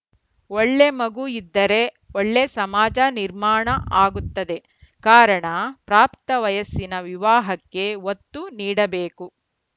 ಒಳ್ಳೆ ಮಗು ಇದ್ದರೆ ಒಳ್ಳೆ ಸಮಾಜ ನಿರ್ಮಾಣ ಆಗುತ್ತದೆ ಕಾರಣ ಪ್ರಾಪ್ತ ವಯಸ್ಸಿನ ವಿವಾಹಕ್ಕೆ ಒತ್ತು ನೀಡಬೇಕು